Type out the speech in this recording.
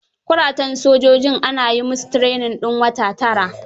Kuratan sojojin ana yi musu training din wata tara.